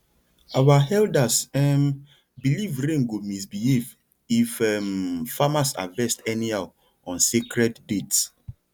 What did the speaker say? our elders um believe rain go misbehave if um farmers harvest anyhow on sacred dates